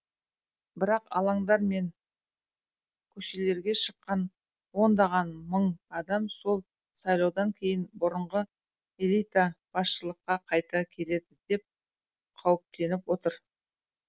бірақ алаңдар мен көшелерге шыққан ондаған мың адам сол сайлаудан кейін бұрынғы элита басшылыққа қайта келеді деп қауіптеніп отыр